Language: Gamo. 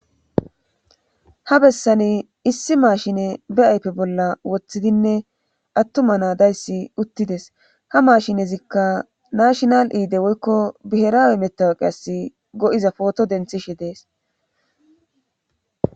Ha bessani issi maashine be aype bolla woththidinne attuma naadayssi uttides ha maashinezikka nashinal iide woykko biheraawe metawaqe as go7iza pooto denthishe dees.